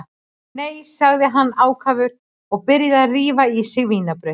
Nei, sagði hann ákafur og byrjaði að rífa í sig vínarbrauð.